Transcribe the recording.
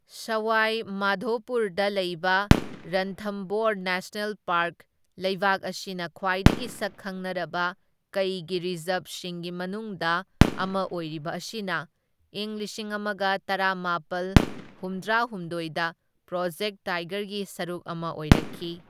ꯁꯋꯥꯏ ꯃꯥꯙꯣꯄꯨꯔꯗ ꯂꯩꯕ Ranthambore national park, ꯂꯩꯕꯥꯛ ꯑꯁꯤꯗ ꯈ꯭ꯋꯥꯏꯗꯒꯤ ꯁꯛ ꯈꯪꯅꯔꯕ ꯀꯩꯒꯤ ꯔꯤꯖꯔꯕꯁꯤꯡꯒꯤ ꯃꯅꯨꯡꯗ ꯑꯃ ꯑꯣꯏꯔꯤꯕ ꯑꯁꯤꯅ ꯢꯪ ꯂꯤꯁꯤꯡ ꯑꯃꯒ ꯇꯔꯥꯃꯥꯄꯜ ꯍꯨꯝꯗ꯭ꯔꯥ ꯍꯨꯝꯗꯣꯢꯗ ꯄ꯭ꯔꯣꯖꯦꯛ ꯇꯥꯏꯒꯔꯒꯤ ꯁꯔꯨꯛ ꯑꯃ ꯑꯣꯏꯔꯛꯈꯤ꯫